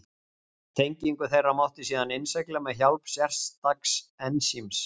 tengingu þeirra mátti síðan innsigla með hjálp sérstaks ensíms